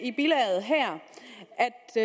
i